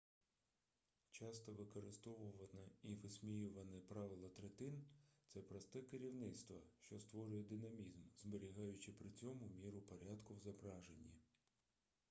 часто використовуване і висміюване правило третин це просте керівництво що створює динамізм зберігаючи при цьому міру порядку в зображенні